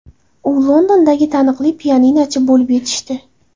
U Londondagi taniqli pianinochi bo‘lib yetishdi.